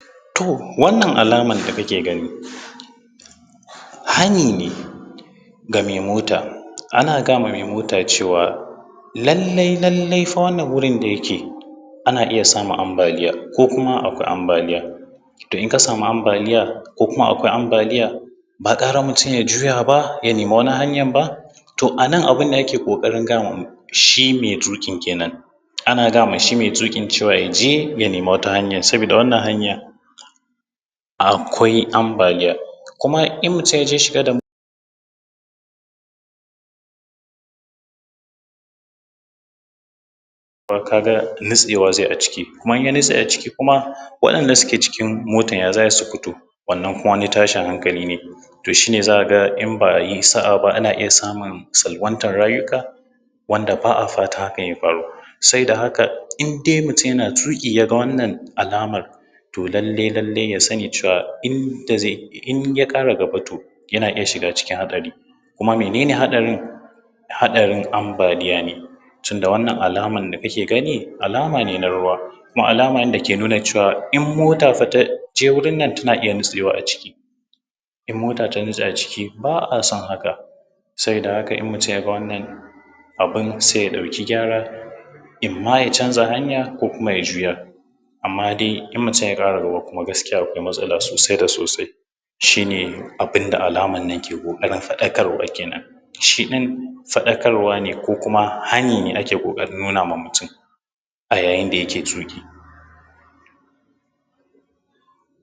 To, wannan alamar da kake gani hani ne ga mai mota. Ana gaya ma mai mota cewa, lallai-lallai fa wannan wurin da yake ana iya samun ambaliya ko kuma akwai ambaliya. To in ka samu ambaliya ko kuma akwai ambaliya, ba gara mutum ya juya ya samu wata hanyar ba? To a nan, abin da ke ƙoƙarin gaya ma shi mai tuƙi kenan. Ana gaya ma shi mai tuƙin cewa, ya je ya nemi wata hanyar saboda wannan hanyar akwai ambaliya; kuma in mutum ya shiga da motar, ka ga nutsewa zai yi a ciki, in ya nutse waɗanda suke cikin motar ya za a yi su fito? Wannna ma wani tashin hankali ne, shi ne za a ga in ba yi sa’a ba, ana iya samun salwantar rayuka wanda ba a fata haka ya faru. Saboda haka, indai mutum yana tuƙi ya ga wannan alamar, to lallai-lallai in ya ƙara gaba yana cikin tashin haɗari, kuma mene ne haɗarin? Ambaliya ne tunda wannan alamar da kake gani alama ne na ruwa, kuma alama ne da ke nuna cewa in mota ta fa ta je wurin nan, za a a iya nutsewa a ciki. In mota ta nutse ba a son haka saboda haka, in mutum ya ga wannan abun sai ya ɗauki gyara imma ya canza hanya ko kuma ya juya. Amma dai in mutum ya ƙara gaba kuma gaskiya akwai matsala sosai da sosai. Shi ne abin da alamar nan ke ƙoƙarin faɗakarwa kenan. Shi ɗin faɗakarwa ne ko kuma hani ne ake ƙoƙarin nuna wa mutum a yayin da yake tuƙi.